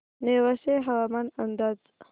नेवासे हवामान अंदाज